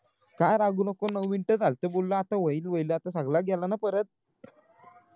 का रागावू नको नऊ मिनिटं झालत बोलणं आता होईल होईल आता सगळं गेलं ना परत